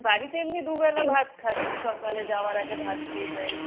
বাড়িতে এমনি দু'বেলা ভাত খাচ্ছি, সকালে যাওয়ার আগে ভাত খেয়ে যাই।